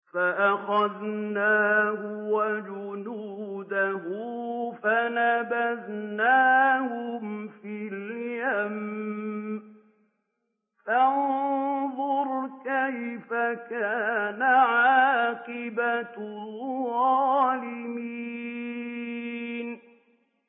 فَأَخَذْنَاهُ وَجُنُودَهُ فَنَبَذْنَاهُمْ فِي الْيَمِّ ۖ فَانظُرْ كَيْفَ كَانَ عَاقِبَةُ الظَّالِمِينَ